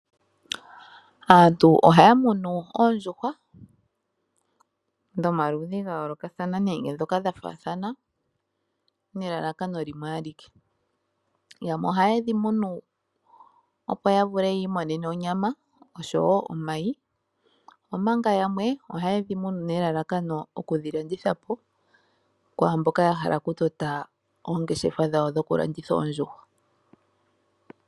Aantu ohaya munu oondjuhwa dhomaludhi ga yoolokathana nenge ndhoka dha faathana nelalakano limwe alike. Yamwe ohaye dhi munu, opo ya vule yi imonene onyama oshowo omayi, omanga yamwe ohaye dhi munu nelalakano okudhi landitha po kwaa mboka ya hala okutota oongeshefa dhawo dhokulanditha oondjuhwa.